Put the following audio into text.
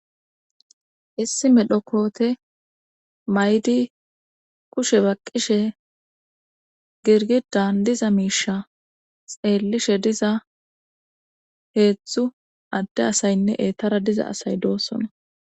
Issi medhokote maydi kushe baqqishe girgidan diza miisha xeellishe diza heedzdzu adde asaynne eettara diza asay doossona.